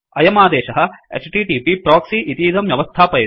अयमादेशः HTTP proxy इतीदं व्यवस्थापयति